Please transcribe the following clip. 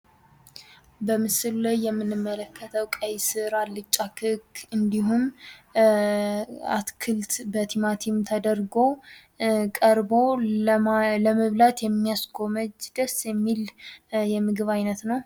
በምሥሉ ላይ የምንመለከተው ቀይ ሥር ፣አልጫ ክክ እንዲሁም ፤ አትክልት በቲማቲም ተደርጎ ቀርቦ ለመብላት የሚያስጎመጅ ደስ የሚል የምግብ አይነት ነው።